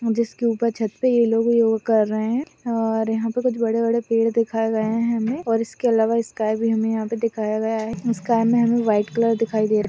जिसके उपर छत पे ये लोग योग कर रहे है और यहा पे बड़े बड़े पेड़ दिखाए गए है हमेऔर इसके अलावा स्काय भी दिखाया गया है स्काय मै हमे व्हाईट कलर दिखाई दे रहा है।